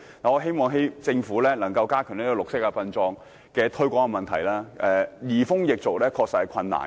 我希望政府可以加強推廣綠色殯葬；移風易俗確實困難重重。